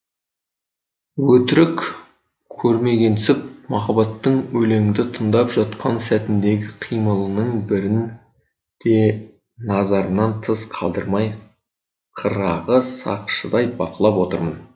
өтірік көрмегенсіп махаббаттың өлеңді тыңдап жатқан сәтіндегі қимылының бірін де назарымнан тыс қалдырмай қырағы сақшыдай бақылап отырмын